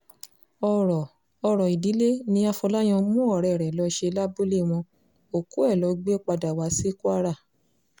ọ̀rọ̀ ọ̀rọ̀ ìdílé ní afọláyàn mú ọ̀rẹ́ ẹ̀ lọ́ọ́ ṣe lábúlé wọn òkú ẹ̀ ló gbé padà wá sí kwara